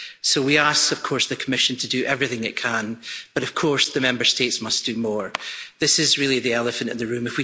So we ask the Commission to do everything it can, but of course the Member States must do more this is really the elephant at the room.